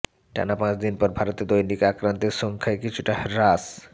টানা পাঁচদিন পর ভারতে দৈনিক আক্রান্তের সংখ্যায় কিছুটা হ্রাস